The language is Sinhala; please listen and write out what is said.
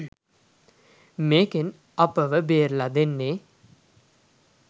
මේකෙන් අපව බේරලා දෙන්නේ